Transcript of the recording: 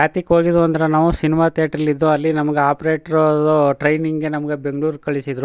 ಯಾತಿಕ್ ಹೋಗಿದ್ದೊ ಅಂದ್ರೆ ನಾವು ಸಿನಿಮಾ ಥಿಯೇಟರಲ್ಲಿ ಇದ್ದೊ ಅಲ್ಲಿ ನಮ್ ಗೆ ಆಪ್ರೇಟ್ರು ದು ಟ್ರೈನಿಂಗ್ ಗೆ ನಮ್ ಗೆ ಬೆಂಗಳೂರ್ ಗೆ ಕಳಿಸಿದ್ರು.